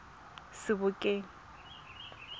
sebokeng